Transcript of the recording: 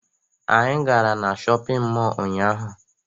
Anyị gara na shọpịn mọọ ụnyaahụ